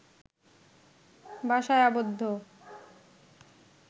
বাসায় আবদ্ধ